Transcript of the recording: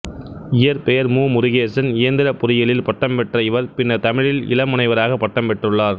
இயற்பெயர் மு முருகேசன் இயந்திரப் பொறியியலில் பட்டம் பெற்ற இவர் பின்னர் தமிழில் இள முனைவராகப் பட்டம் பெற்றுள்ளார்